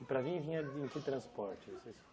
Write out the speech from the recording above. E para vir, vinha em que transporte?